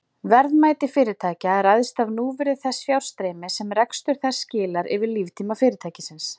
Verðmæti fyrirtækja ræðst af núvirði þess fjárstreymis sem rekstur þess skilar yfir líftíma fyrirtækisins.